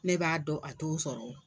Ne b'a dɔn a t'o sɔrɔ wo.